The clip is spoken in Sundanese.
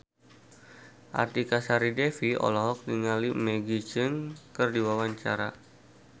Artika Sari Devi olohok ningali Maggie Cheung keur diwawancara